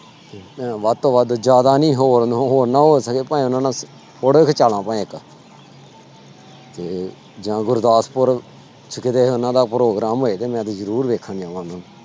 ਵੱਧ ਤੋਂ ਵੱਧ ਜ਼ਿਆਦਾ ਨੀ ਹੋਰ ਹੋਰ ਨਾ ਹੋ ਸਕੇ fan ਆ ਨਾ photo ਖਿਚਾ ਇੱਕ ਤੇ ਜਾਂ ਗੁਰਦਾਸਪੁਰ ਚ ਕਿਤੇ ਉਹਨਾਂ ਦਾ program ਹੋਏ ਤੇ ਮੈਂ ਵੀ ਜ਼ਰੂਰ ਵੇਖਣ ਜਾਵਾਂਗਾ।